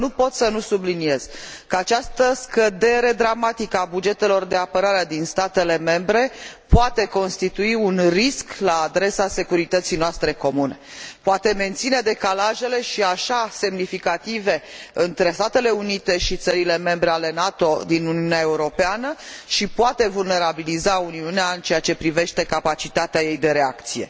însă nu pot să nu subliniez că această scădere dramatică a bugetelor de apărare din statele membre poate constitui un risc la adresa securității noastre comune, poate menține decalajele, și așa semnificative, între Statele Unite și țările membre ale NATO din Uniunea Europeană și poate vulnerabiliza Uniunea în ceea ce privește capacitatea ei de reacție.